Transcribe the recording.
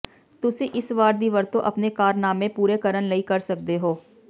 ਤੁਸੀਂ ਇਸ ਵਾਰ ਦੀ ਵਰਤੋਂ ਆਪਣੇ ਕਾਰਨਾਮੇ ਪੂਰੇ ਕਰਨ ਲਈ ਕਰ ਸਕਦੇ ਹੋ